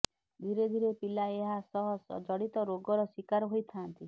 ଧିରେ ଧିରେ ପିଲା ଏହା ସହ ଜଡ଼ିତ ରୋଗର ଶିକାର ହୋଇଥାନ୍ତି